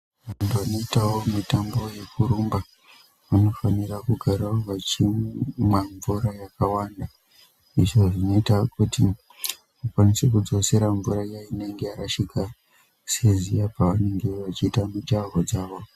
Vantu vanoitawo mitambo yekurumba vanofanira kugarawo vachimwa mvura yakawanda. Izvo zvinoita kuti vakwanise kudzosera mvura iya inenge yarashika seziya pavanenge vachiita mijaho dzavo.